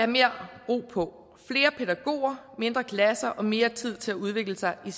mere ro på flere pædagoger mindre klasser og mere tid til at udvikle sig i